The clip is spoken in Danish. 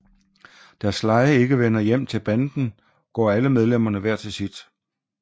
Da Sly ikke vender tilbage til banden går alle medlemmerne hvert til sit